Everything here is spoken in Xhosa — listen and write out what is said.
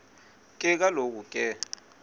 ke kaloku ke